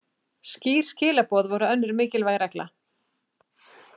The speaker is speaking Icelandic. Skýr skilaboð voru önnur mikilvæg regla.